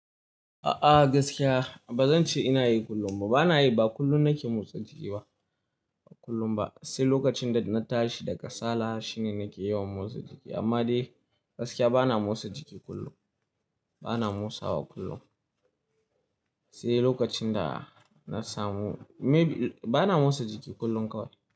A'a gaskiya bazan ce ina yi kullum ba, bana yi ba kullum nake motsa jiki ba, ba kullum ba. Sai lokacin da na tashi da kasala shine nake yawan motsa jiki amma dai gaskiya bana motsa jiki kullum. Bana motsawa kullum. Sai lokacin da na samu maybe-- bana motsa jiki kullum kawai.